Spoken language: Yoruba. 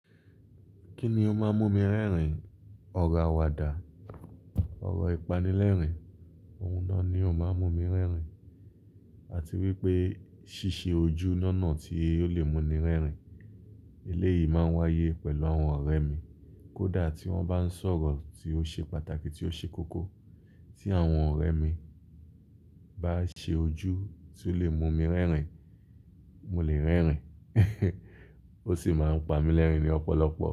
Kí ni ó máa ń mú mi rẹ́rìn? Ọ̀rọ̀ àwàdà, ọ̀rọ̀ ìpánilẹ́rìn, ohun náà ni ó máa ń mú mi rẹ́rìn àti wípé ṣíṣe ojú nọ́ọ̀nà tí ó lè mú ni rẹ́rìn. Eléyìí máa ń wáyé pẹ̀lú àwọn ọ̀rẹ́ mi. Kódà tí wọ́n bá ń sọ̀rọ̀ tí ó ṣe pàtàkì tí ó ṣe kókó, tí àwọn ọ̀rẹ́ mi bá ṣe ojú tí ó lè mú mi rẹ́rìn, mo lè rẹ́rìn, ó sì máa ń pa mí lẹ́rìn ni ọ̀pọ̀lọpọ̀